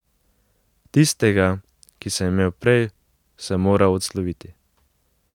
Tistega, ki sem imel prej, sem moral odsloviti.